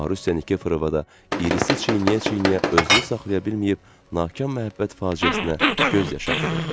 Marusiya Nikeforova da irisi çiynəyə-çiynəyə özünü saxlaya bilməyib, nakam məhəbbət faciəsinə göz yaşı axıdırdı.